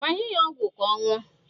Gbanye ya ọgwụ ka ọ ṅụọ